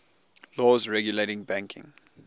laws regulating banking